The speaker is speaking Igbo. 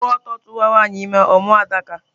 A kwuru ọtọ tuwa nwanyị ime, ọ mụọ Adaka